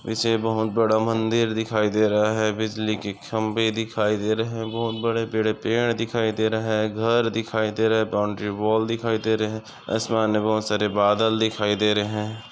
ईसे बहुत बड़ा मंदिर दिखाई दे रहा है बिजली की खंबे दिखाई दे रहे हे बहुत बड़े-बड़े पेड़ दिखाई दे रहा हे घर दिखाई दे रहा है बाउंड्री वाल दिखाई दे रहे आसमान मे बहुत सारे बादल दिखाई दे रहे।